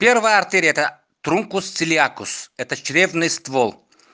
первая артерия это трункус цилиатус это чревный ствол